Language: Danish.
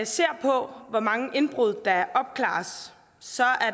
ser på hvor mange indbrud der opklares så